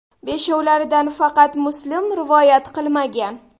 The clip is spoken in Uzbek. Beshovlaridan faqat Muslim rivoyat qilmagan.